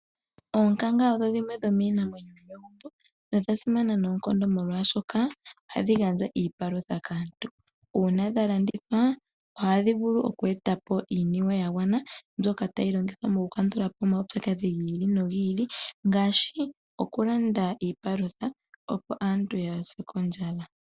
Oonkanga odho dhimwe dhomiinamwenyo yomegumbo nodha simana noonkondo molwaashoka ohadhi gandja iipalutha kaantu. Uuna dha landithwa ohadhi vulu oku e ta po iiniwe ya gwana mbyoka tayi longithwa moku kandula po omaupyakadhi gi ili ngaashi okulanda iipalutha opo aantu kaa ya se kondjala.